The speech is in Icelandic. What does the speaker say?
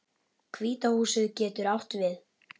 Hvíta húsið getur átt við